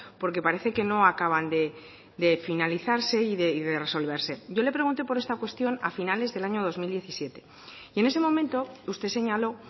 porque parece que no acaban de finalizarse y de resolverse yo le pregunté por esta cuestión a finales del año dos mil diecisiete y en ese momento usted señaló